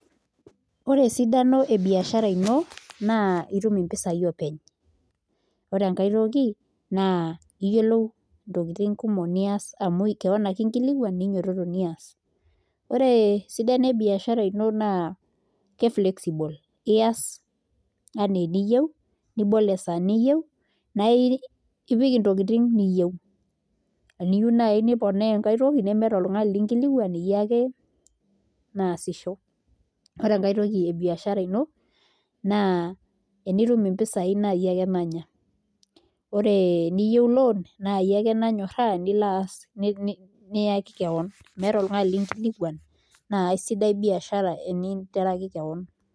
Ore esidano ebiashara ino naa itum mpisaai openy ore enkae toki toki naa iyiolou ntokitin kumok nias amu keon ake nekilikuan ninyiototo nias ore esidano ebiashara ino naa ke fexible iaas ena eniyieu nibol esaa niyieu naa ipik ntokitin niyieu eniyieu nai niponaa enkae toki naa iyie ake nasisho ore enkae toki ebiashara ino naa enitum mpisaai naa iyie ake nanya, ore eniyieu loan naa iyie ake nanyorraa niyaki keon meeta oltung'ani linkilikuan naa kasidai biashara teninteraki keon.